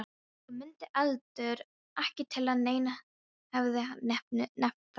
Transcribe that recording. Og mundi heldur ekki til að neinn hefði nefnt það.